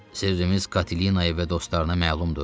Sirdirimiz Katelinaya və dostlarına məlumdur?